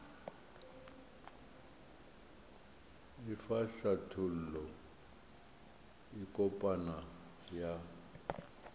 efa hlathollo e kopana ya